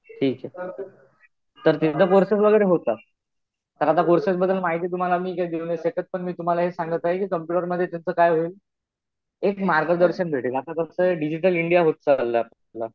ठीक आहे. तर तिथं कोर्सेस वगैरे होतात. तर आता कोर्सेस बद्दल माहिती तुम्हाला मी काही देऊ नाही शकत त्याचं पण तुम्हाला सांगत आहे कि कम्पुटरमध्ये नेमकं काय होईल. एक मार्गदर्शन भेटेल. आता कसं डिजिटल इंडिया होत चालला.